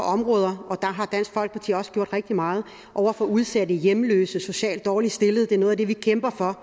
områder og der har dansk folkeparti også gjort rigtig meget for udsatte hjemløse og socialt dårligt stillede det er noget af det vi kæmper for